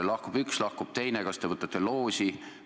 Lahkub üks, lahkub teine, kas te võtate loosi?